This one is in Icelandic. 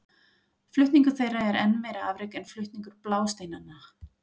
Flutningur þeirra er enn meira afrek en flutningur blásteinanna.